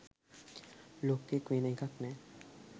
ලොක්කෙක් වෙන එකක් නෑ.